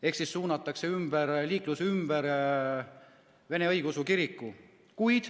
Ehk siis suunatakse liiklus ümber Vene Õigeusu Kiriku.